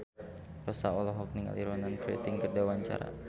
Rossa olohok ningali Ronan Keating keur diwawancara